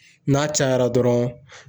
N'a cayara dɔrɔn